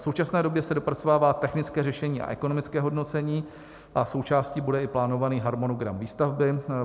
V současné době se dopracovává technické řešení a ekonomické hodnocení a součástí bude i plánovaný harmonogram výstavby.